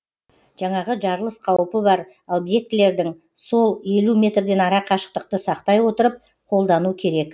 жаңағы жарылыс қауіпі бар обьектілердің сол елу метрден ара қашықтықты сақтай отырып қолдану керек